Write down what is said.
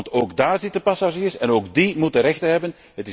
Want ook daar zitten passagiers en ook die moeten rechten hebben.